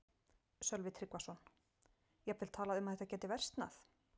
Sölvi Tryggvason: Jafnvel talað um að þetta gæti versnað?